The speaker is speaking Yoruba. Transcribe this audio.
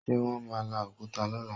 Ṣe wọ́n máa la òkúta lọ́la?